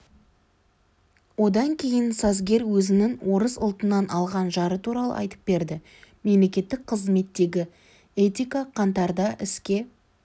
одан кейін сазгер өзінің орыс ұлтынан алған жары туралы айтып берді мемлекеттік қызметтегі этика қаңтарда іске